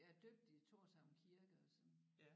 Jeg er døbt i Thorshavn Kirke og sådan